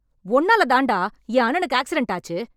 உன்னால தான்டா , என் அண்ணனுக்கு ஆக்ஸிடன்ட் ஆச்சி.